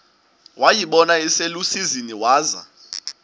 wayibona iselusizini waza